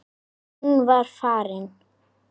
Hún var farin.